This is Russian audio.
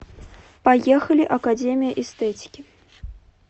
поехали академия эстетики